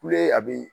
Kule a bi